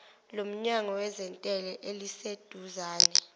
lomnyango wezentela eliseduzane